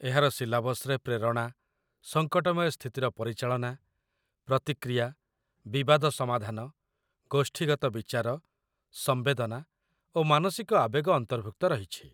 ଏହାର ସିଲାବସ୍‌ରେ ପ୍ରେରଣା, ସଙ୍କଟମୟ ସ୍ଥିତିର ପରିଚାଳନା, ପ୍ରତିକ୍ରିୟା, ବିବାଦ ସମାଧାନ, ଗୋଷ୍ଠୀଗତ ବିଚାର, ସମ୍ବେଦନା ଓ ମାନସିକ ଆବେଗ ଅନ୍ତର୍ଭୁକ୍ତ ରହିଛି